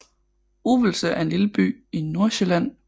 Uvelse er en lille by i Nordsjælland med